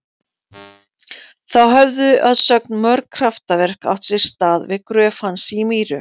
Þá höfðu að sögn mörg kraftaverk átt sér stað við gröf hans í Mýru.